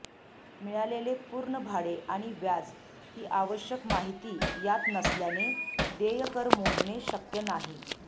मिळालेले पूर्ण भाडे आणि व्याज ही आवश्यक माहिती यात नसल्याने देय कर मोजणे शक्य नाही